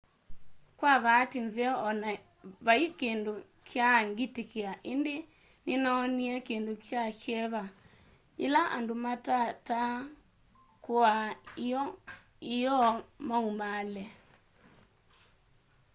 kwa vaati nzeo o na vai kindu kyaa ngitikia indi ninoonie kindu kya kyeva yila andu matataa kuaa ioo maumaale